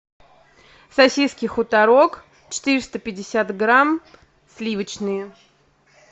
сосиски хуторок четыреста пятьдесят грамм сливочные